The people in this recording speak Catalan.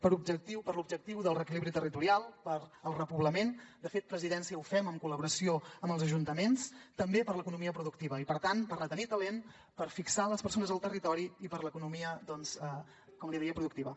per l’objectiu del reequilibri territorial pel repoblament de fet presidència ho fem en col·laboració amb els ajuntaments també per l’economia productiva i per tant per retenir talent per fixar les persones al territori i per l’economia doncs com li deia productiva